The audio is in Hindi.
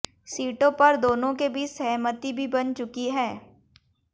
सीटों पर दोनों के बीच सहमति भी बन चुकी है